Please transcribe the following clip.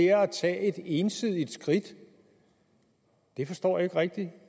er at tage et ensidigt skridt det forstår jeg ikke rigtig